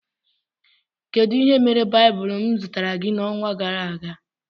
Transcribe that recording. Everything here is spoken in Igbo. Kedụ ihe mere baibulu m zụtara gị na ọnwa gara aga?